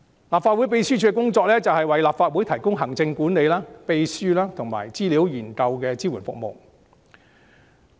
立法會秘書處的工作是為立法會提供行政管理、秘書及資料研究支援等服務。